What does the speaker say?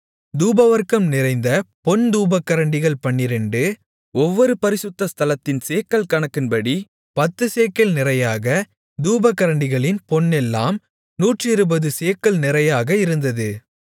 தூபவர்க்கம் நிறைந்த பொன் தூபகரண்டிகள் பன்னிரண்டு ஒவ்வொன்று பரிசுத்த ஸ்தலத்தின் சேக்கல் கணக்கின்படி பத்துச்சேக்கல் நிறையாக தூப கரண்டிகளின் பொன்னெல்லாம் நூற்றிருபது சேக்கல் நிறையாக இருந்தது